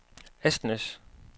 Asnæs